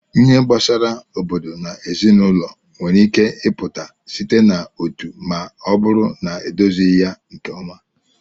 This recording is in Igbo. Ihe gbasara obodo na ezinụlọ nwere ike ịpụta site na otu ma ọ bụrụ na edozighị ya nke ọma.